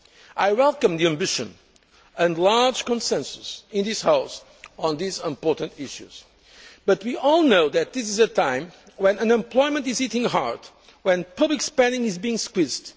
Berès. I welcome the ambition and large consensus in this House on these important issues, but we all know that this is a time when unemployment is hitting hard, when public spending is being squeezed.